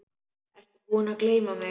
Ertu búinn að gleyma mig?